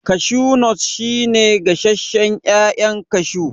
Kashu nut shi ne gasashen ƴaƴan kashu